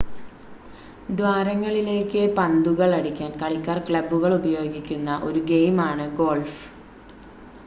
ദ്വാരങ്ങളിലേക്ക് പന്തുകൾ അടിക്കാൻ കളിക്കാർ ക്ലബ്ബുകൾ ഉപയോഗിക്കുന്ന ഒരു ഗെയിമാണ് ഗോൾഫ്